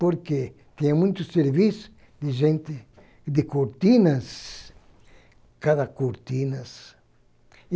Porque tinha muito serviço de gente, de cortinas, cada cortinas. E